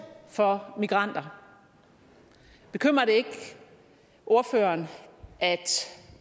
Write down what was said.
for migranter bekymrer det ikke ordføreren at